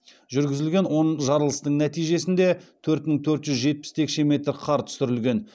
жүргізілген он жарылыстың нәтижесінде төрт мың төрт жүз жетпіс текше метр қар түсірілген